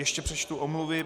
Ještě přečtu omluvy.